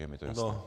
Je mi to jasné.